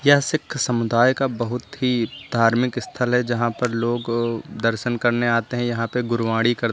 यह सिख समुदाय का बहुत ही धार्मिक स्थल है यहां पर लोग दर्शन करने आते हैं यहां पे गुरबाणी कर--